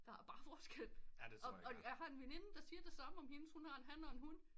Der er bare forskel og jeg har en veninde der siger det samme hendes hun har en han og en hun